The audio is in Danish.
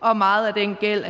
og meget af den gæld